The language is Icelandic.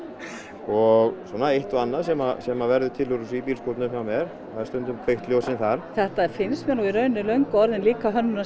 og svona eitt og annað sem sem verður til í bílskúrnum hjá Már það eru stundum kveikt ljósin þar þetta finnst mér í rauninni löngu orðin líka